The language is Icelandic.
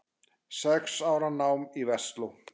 Sex ára nám í Versló.